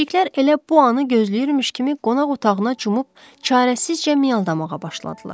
Pişiklər elə bu anı gözləyirmiş kimi qonaq otağına cumub çarəsizcə miyaldamağa başladılar.